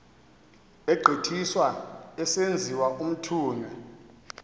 egqithiswa esenziwa umthunywa